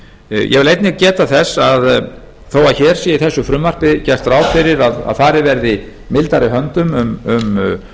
ég vil einnig geta þess að þó hér sé í þessu frumvarpi gert ráð fyrir að farið verði mildari höndum um